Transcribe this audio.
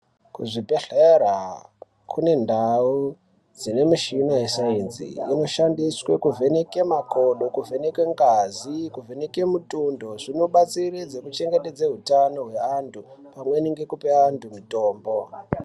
Kuzvibhedhlera kunendau dzine mishina yesainzi inoshandiswe kuvheneke makodo, kuvheneke ngazi, kuvheneke mutundo. Zvinobatsiridze kuchengetedze hutano hweantu, pamweni ngekupe antu mitombo.